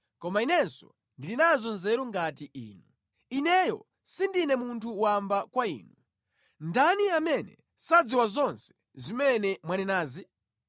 Koma inenso ndili nazo nzeru ngati inu; ineyo sindine munthu wamba kwa inu. Ndani amene sadziwa zonse zimene mwanenazi?